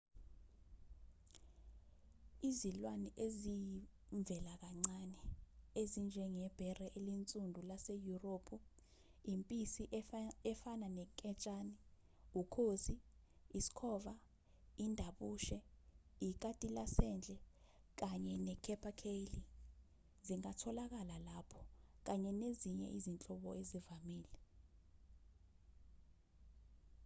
izilwane eziyivelakancane ezinjengebhere elinsundu laseyurophu impisi efana nenketshane ukhozi isikhova indabushe ikati lasendle kanye ne-capercaillie zingatholakala lapho kanye nezinye izinhlobo ezivamile